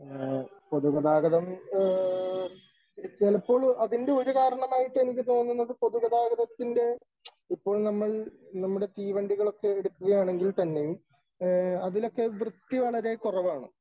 പൊതുഗതാഗതം ചിലപ്പോൾ അതിന്റെ ഒരു കാരണമായിട്ട് എനിക്ക് തോന്നുന്നത് പൊതുഗതാഗതത്തിന്റെ ഇപ്പോൾ നമ്മൾ നമ്മുടെ തീവണ്ടികളൊക്കെ എടുക്കുകയാണെങ്കിൽ തന്നെയും അതിലൊക്കെ വൃത്തി വളരെ കുറവാണ് .